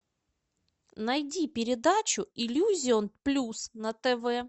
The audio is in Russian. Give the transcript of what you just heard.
найди передачу иллюзион плюс на тв